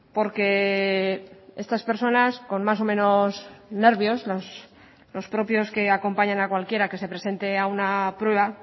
porque estas personas con más o menos nervios los propios que acompañan a cualquiera que se presente a una prueba